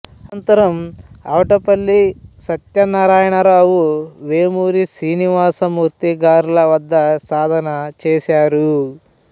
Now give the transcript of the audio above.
అనంతరం ఆవటపల్లి సత్యనారాయణరఅవు వేమూరి శ్రీనివాసమూర్తి గారల వద్ద సాధన చేశారు